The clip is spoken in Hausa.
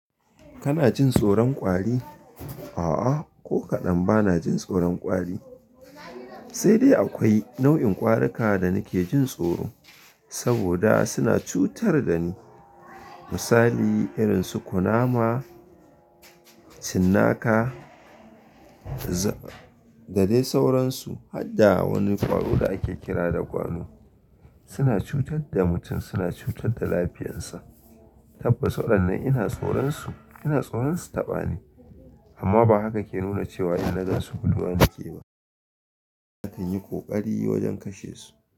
Kana jin tsoron kwari? A'a, ko kaɗan bana jin tsoron kwari, sai dai akwai nau'in ƙwarika da nake jin tsoro, saboda suna cutar da ni. Misali irin su kunama, cinnaka. Da dai sauransu. Har da wani ƙwaro da ake kira da gwano. Suna cutar da mutum, suna cutar da lafiyansa. Tabbas waɗannan ina tsoron su, ina tsoron su taɓa ni. Amma ba haka ke nuna cewa ina gaskatawa da su ba. Zan yi ƙoƙari wajen kashe su.